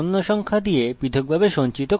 একে প্রাথমিক কি নির্ধারিত করুন